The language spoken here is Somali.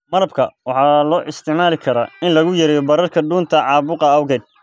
Malabka waxaa loo isticmaali karaa in lagu yareeyo bararka dhuunta caabuqa awgeed.